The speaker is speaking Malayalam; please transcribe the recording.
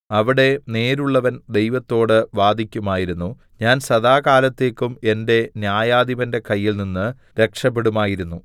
അവിടെ നേരുള്ളവൻ ദൈവത്തോട് വാദിക്കുമായിരുന്നു ഞാൻ സദാകാലത്തേക്കും എന്റെ ന്യായാധിപന്റെ കയ്യിൽനിന്ന് രക്ഷപെടുമായിരുന്നു